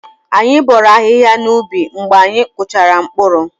Anyị bọọrọ ahịhịa n'ubi mgbe anyị kpụchara mkpụrụ.